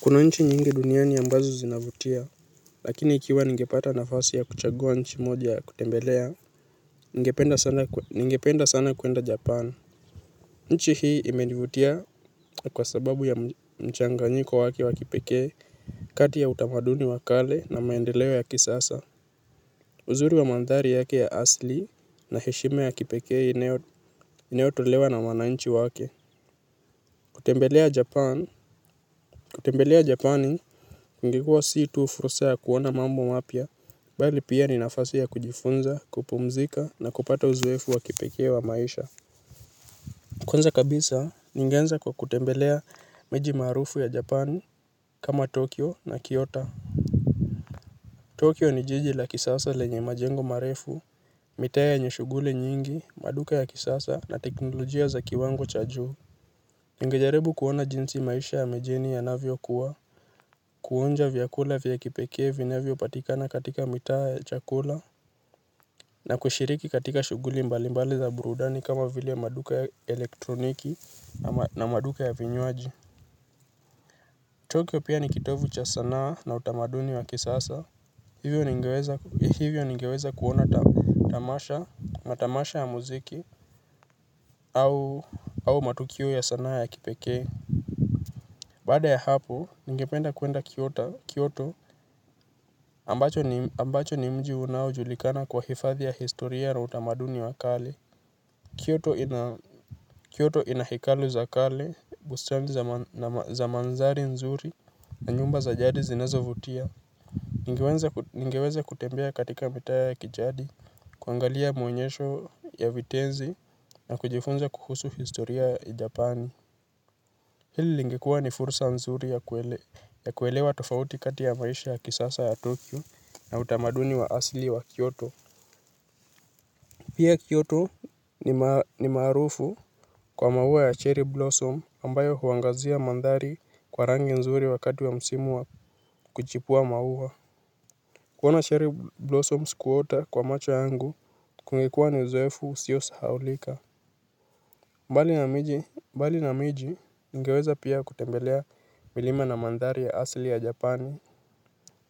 Kuna nchi nyingi duniani ambazo zinavutia, lakini ikiwa ngepata nafasi ya kuchagua nchi moja ya kutembelea, ningependa sana kwenda Japan. Nchi hii imenivutia kwa sababu ya mchanganjiko wake wakipekee kati ya utamaduni wa kale na maendeleo ya kisasa. Uzuri wa mandhari yake ya asli na heshima ya kipekee inayotolewa na wananchi wake. Kutembelea japan kutembelea japani kungekua si tu fursa ya kuona mambo mapya bali pia ni nafasi ya kujifunza kupumzika na kupata uzoefu wa kipekee wa maisha. Kwanza kabisa ningeanza kwa kutembelea miji maarufu ya japani kama tokyo na kiota Tokyo ni jiji la kisasa lenye majengo marefu mitaa yenye shughuli nyingi maduka ya kisasa na teknolojia za kiwango cha juu. Ningejaribu kuona jinsi maisha ya mijini yanavyokuwa. Kuonja vyakula vyakipekee vinavyo patikana katika mitaa ya chakula na kushiriki katika shughuli mbalimbali za burudani kama vile maduka elektroniki na maduka ya vinywaji Tokyo pia nikitovu cha sanaa na utamaduni wa kisasa. Hivyo ningeweza kuona tamasha matamasha ya muziki au matukio ya sanaa ya kipekee. Baada ya hapo, ningependa kwenda Kiyoto ambacho ni mji unao julikana kwa hifadhi ya historia na utamaduni wa kale Kiyoto inahekalu za kale, bustani za mandhari nzuri na nyumba za jadi zinazovutia. Ningeweze kutembea katika mitaa ya kijadi, kuangalia muonyesho ya vitenzi na kujifunza kuhusu historia ya japani. Hili lingekua ni fursa nzuri ya kuelewa ya kuwelewa tofauti kati ya maisha ya kisasa ya tokyo na utamaduni wa asli wa kyoto. Pia kyoto ni maarufu kwa maua ya cherry blossom ambayo huangazia mandhari kwa rangi nzuri wakati wa msimu wa kuchipua maua. Kuona cherry blossom sikuota kwa macho yangu kungekuwa ni uzoefu usiosahaulika. Mbali na miji mbali na miji ningeweza pia kutembelea milima na mandhari ya asli ya japani